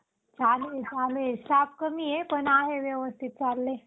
Sensex मध्ये विविध क्षेत्रात प्रमु प्रभुत्व असलेल्या तीस कंपन्यांचा समावेश केला गेला आहे. एकोणविसशे अठ्यातर